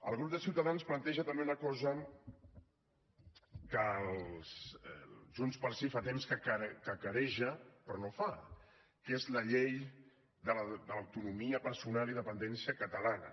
el grup de ciutadans planteja també una cosa que junts pel sí fa temps que cacareja però no fa que és la llei de l’autonomia personal i dependència catalana